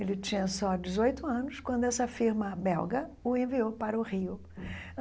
Ele tinha só dezoito anos quando essa firma belga o enviou para o Rio